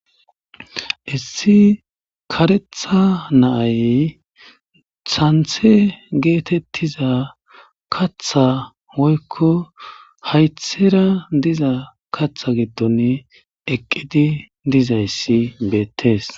issi karetha naay santhe geetettiza katha woykko haythera diza katha gidton eqqidi dizayssi beettes